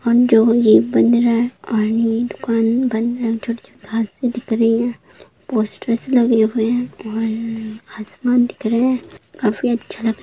और जो ये बन रहा और ये दुकान बंद है छोटी-छोटी घांसे भी दिख रही है और पोस्टर लगे हुए हैं और आसमान दिख रहें हैं काफी अच्छा लग --